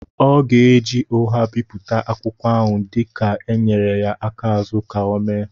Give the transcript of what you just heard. ọ ga-eji ụgha bipụta akwụkwọ ahụ dika e nyere ya aka azụ ka ọ méé